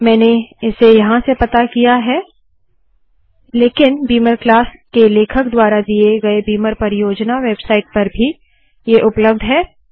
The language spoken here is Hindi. मैंने इसे यहाँ से पता किया है लेकिन बीमर क्लास के लेखक द्वारा दिए गए बीमर परियोजना वेबसाइट पर भी ये उपलब्ध है